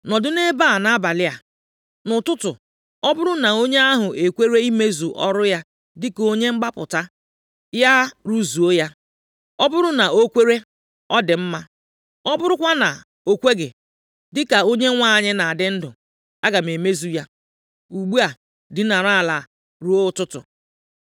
Nọdụ nʼebe a nʼabalị a. Nʼụtụtụ, ọ bụrụ na onye ahụ ekwere imezu ọrụ ya dịka onye mgbapụta, ya rụzuo ya. Ọ bụrụ na o kwere, ọ dị mma, ọ bụrụkwanụ na o kweghị, dịka Onyenwe anyị na-adị ndụ, aga m emezu ya. Ugbu a, dinara ala ruo ụtụtụ.”